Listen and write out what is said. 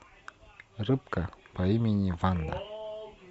рыбка по имени ванда